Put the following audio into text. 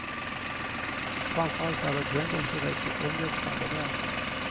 Framför allt är det ett händelserikt och omväxlande verk.